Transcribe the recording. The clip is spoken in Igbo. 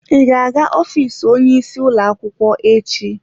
Ị ga-aga ofiisi onye isi ụlọ akwụkwọ echi?